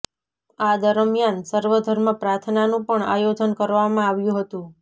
આ દરમિયાન સર્વધર્મ પ્રાર્થનાનું પણ આયોજન કરવામાં આવ્યું હતું